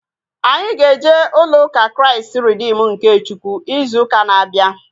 Anyị ga-eje ulo ụka Kraịst Reedim nke Chukwu izu ụka na-abịa